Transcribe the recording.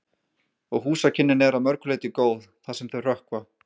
Og húsakynnin eru að mörgu leyti góð, það sem þau hrökkva.